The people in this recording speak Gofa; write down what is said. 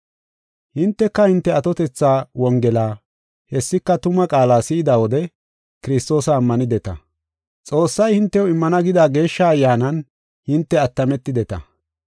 Hinteka hinte atotetha Wongela, hessika tuma qaala si7ida wode Kiristoosa ammanideta. Xoossay hintew immana gida Geeshsha Ayyaanan hinte attametideta.